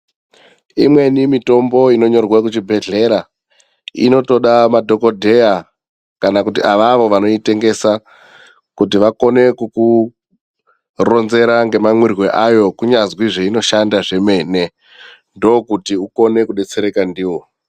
Imweni mitombo inonyorwe kuchibhedhlera inotoda madhokodheya kana avavo vanoitengesa kuti vakone kukuronzera ngemamwirwo ayo kunyanzi zveinoshanda zvemene, ndokuti ukone kudetsereka ndiwo.